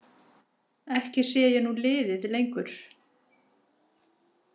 Ekki sé ég nú liðið lengur.